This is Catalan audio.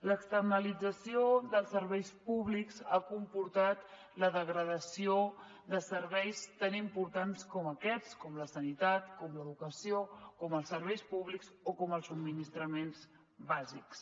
l’externalització dels serveis públics ha comportat la degradació de serveis tan importants com aquests com la sanitat com l’educació com els serveis públics o com els subministraments bàsics